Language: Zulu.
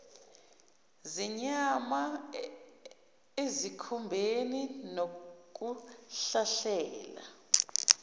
zenyama ezikhumbeni nokuhlahlela